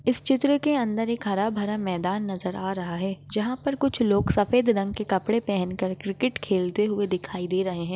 इस चित्र के अंदर के हरा भरा मैदान नज़र आ रहा है। जहा पर कुछ लोग सफ़ेद रंग के कपड़े पेहनकर क्रिकेट खेलते हुए दिखाई दे रहे है।